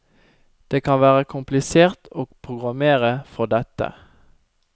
Det kan være komplisert å programmere for dette.